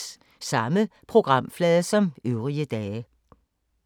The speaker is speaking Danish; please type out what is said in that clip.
Samme programflade som øvrige dage